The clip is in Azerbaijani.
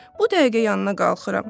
Bu dəqiqə yanına qalxıram.